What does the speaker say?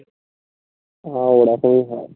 আমার এরকমই হয়